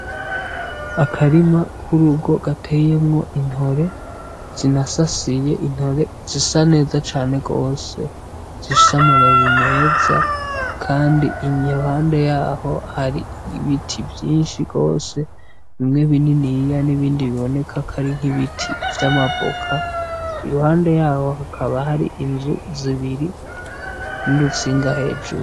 Akarima k'urugo gateyemwo intore zinasasiye , intore zisa neza cane gose zifise amababi meza kandi iruhande yaho hari ibiti vyinshi gose bimwe bininiya n'ibindi biboneka ko ari nk'ibiti vy'amavoka iruhande yaho hakaba hari inzu zibiri n'urutsinga hejuru.